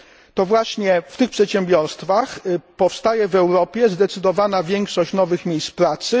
To właśnie w tych przedsiębiorstwach powstaje w Europie zdecydowana większość nowych miejsc pracy.